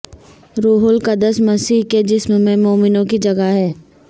روح القدس مسیح کے جسم میں مومنوں کی جگہ ہے